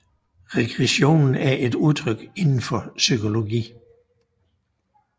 Regression er et udtryk inden for psykologi